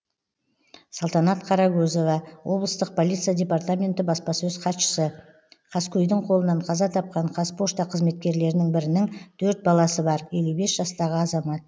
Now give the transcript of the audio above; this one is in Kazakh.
салтанат қарагөзова облыстық полиция департаменті баспасөз хатшысы қаскөйдің қолынан қаза тапқан қазпошта қызметкерлерінің бірінің төрт баласы бар елу бес жастағы азамат